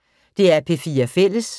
DR P4 Fælles